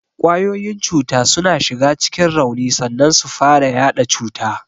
Kwayoyin cuta suna shiga cikin rauni sannan su fara yaɗa cuta.